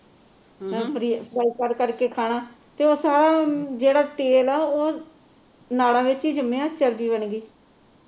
ਕਰ ਕਰ ਕੇ ਖਾਣਾ ਤੇ ਉਹ ਸਾਰਾ ਜਿਹੜਾ ਤੇਲ ਆ ਉਹ ਨਾੜਾਂ ਵਿਚ ਹੀ ਜੰਮਿਆ ਚਰਬੀ ਬਣ ਗਈ